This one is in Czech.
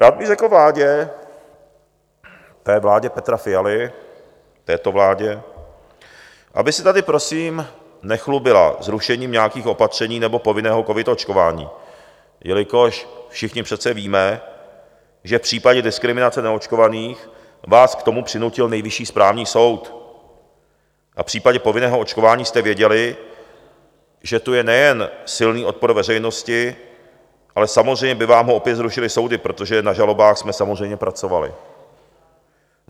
Rád bych řekl vládě, té vládě Petra Fialy, této vládě, aby se tady prosím nechlubila zrušením nějakých opatření nebo povinného covid očkování, jelikož všichni přece víme, že v případě diskriminace neočkovaných vás k tomu přinutil Nejvyšší správní soud, a v případě povinného očkování jste věděli, že tu je nejen silný odpor veřejnosti, ale samozřejmě by vám ho opět zrušily soudy, protože na žalobách jsme samozřejmě pracovali.